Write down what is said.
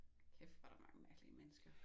Kæft hvor der mange mærkelige mennesker